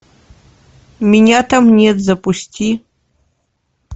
меня там нет запусти